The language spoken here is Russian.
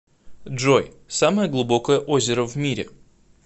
джой самое глубокое озеро в мире